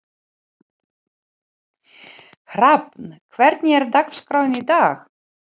Hrafn, hvernig er dagskráin í dag?